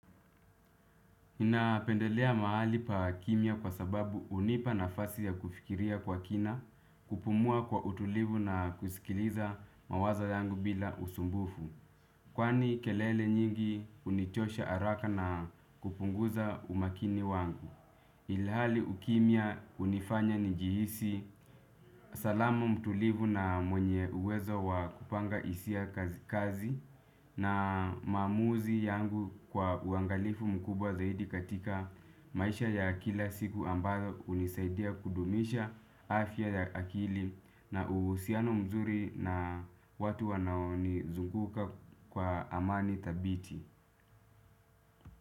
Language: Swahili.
Napendelea mahali pa kimya kwa sababu unipa nafasi ya kufikiria kwa kina, kupumua kwa utulivu na kusikiliza mawazo yangu bila usumbufu. Kwani kelele nyingi unichosha araka na kupunguza umakini wangu. Ilhali ukimya unifanya njihisi salama mtulivu na mwenye uwezo wa kupanga isia kazi na maamuzi yangu kwa uangalifu mkubwa zaidi katika maisha ya kila siku ambayo unisaidia kudumisha afya ya akili na uhusiano mzuri na watu wanao nizunguka kwa amani thabiti.